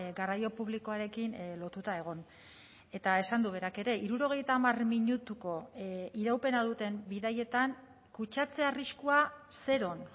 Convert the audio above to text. garraio publikoarekin lotuta egon eta esan du berak ere hirurogeita hamar minutuko iraupena duten bidaietan kutsatze arriskua zeron